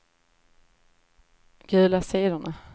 gula sidorna